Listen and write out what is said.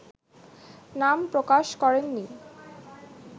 নাম প্রকাশ করেননি